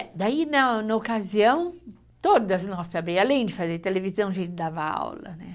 Daí na na ocasião, todas nós também, além de fazer televisão, a gente dava aula, né?